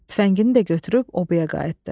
Tüfəngini də götürüb obaya qayıtdı.